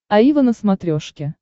аива на смотрешке